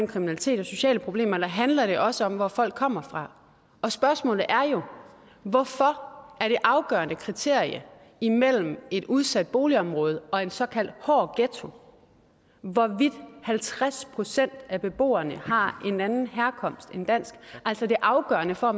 kriminalitet og sociale problemer eller handler det også om hvor folk kommer fra spørgsmålet er jo hvorfor er det afgørende kriterie imellem et udsat boligområde og en såkaldt hård ghetto hvorvidt halvtreds procent af beboerne har en anden herkomst end dansk altså at det afgørende for